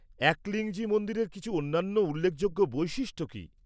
-একলিংজি মন্দিরের কিছু অন্যান্য উল্লেখযোগ্য বৈশিষ্ট্য কী?